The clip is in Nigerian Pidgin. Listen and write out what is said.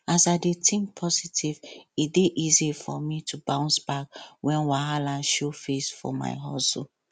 as i dey think positive e dey easy for me to bounce back when wahala show face for my hustle